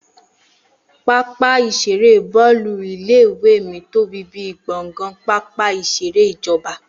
Pápá ìṣeré Bọ́ọ́lù ilé ìwé mí tóbi bíi gbọ̀ngàn pápá ìṣeré ìjọba